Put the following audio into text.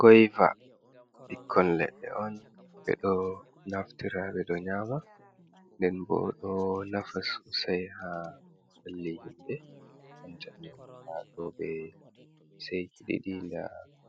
Goyva, ɓikkon leɗɗe on ɓe ɗo naftira ɓe ɗo nyama, nden bo ɗo nafa sosai haa ɓalli himɓe banta ni haaɗo ɓe seyki ɗiɗi, nda